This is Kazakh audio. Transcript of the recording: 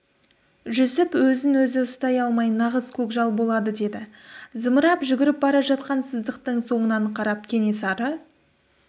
жүсіп өзін-өзі ұстай алмай нағыз көкжал болады деді зымырап жүгіріп бара жатқан сыздықтың соңынан қарап кенесары